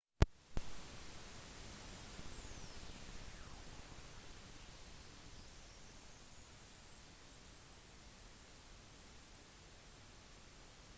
den vanligste typen turisme er den de fleste tenker på med reising rekreasjonsturisme